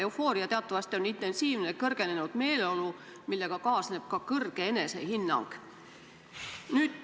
Eufooria on teatavasti intensiivne kõrgenenud meeleolu, millega kaasneb ka kõrge enesehinnang.